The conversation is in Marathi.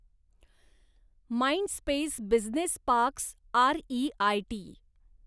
Mindspace business parks REIT